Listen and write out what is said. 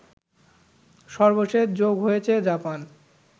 সর্বশেষ যোগ হয়েছে জাপান